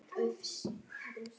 Áætlun okkar stenst ekki lengur.